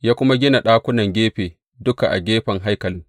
Ya kuma gina ɗakunan gefe duka a gefen haikalin.